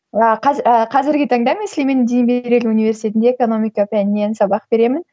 ааа қазіргі таңда мен сүлеймен демирель университетінде экономика пәнінен сабақ беремін